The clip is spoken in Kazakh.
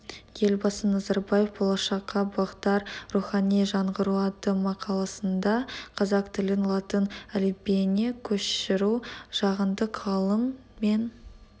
елбасы назарбаев болашаққа бағдар рухани жаңғыру атты мақаласында қазақ тілін латын әліпбиіне көшіру жаһандық ғылым мен